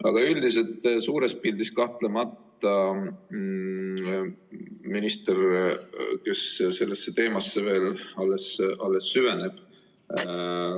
Aga üldiselt suures pildis minister sellesse teemasse kahtlemata veel alles süveneb.